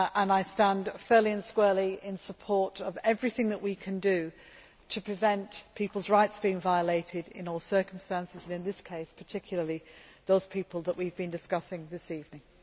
I stand fairly and squarely in support of everything that we can do to prevent people's rights being violated in all circumstances and, in this case particularly, those people that we have been discussing this evening.